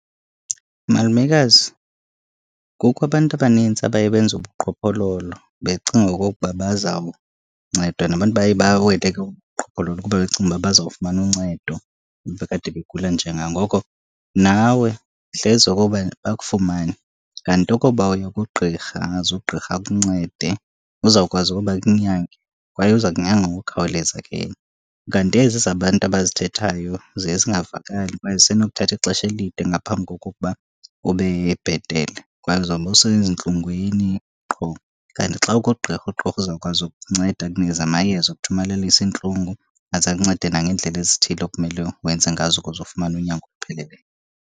Malumekazi, kukho abantu abanintsi abaye benze ubuqhophololo becinga okokuba bazawuncedwa, nabantu baye bawele ke kobu buqhophololo kuba becinga uba bazawufumana uncedo kuba kade begula. Njengangoko, nawe hleze okoba bakufumane, kanti ukuba uya kugqirha angaze ugqirha akuncede. Uzawukwazi ukuba akunyange kwaye uza kunyanga ngokukhawuleza ke yena. Kanti ezi zabantu abazithethayo ziye zingavakali kwaye zisenokuthatha ixesha elide ngaphambi kokokuba ube bhetele, kwaye uzawube usezintlungwini qho. Kanti xa ukuqqirha uqqirha uzawukwazi ukunceda akunikeze amayeza okuthomalalisa iintlungu, aze akuncede nangeendlela ezithile okumele wenze ngazo ukuze ufumane unyango olupheleleyo.